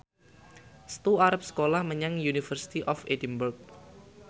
Setu arep sekolah menyang University of Edinburgh